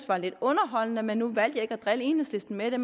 var lidt underholdende men nu valgte jeg ikke at drille enhedslisten med det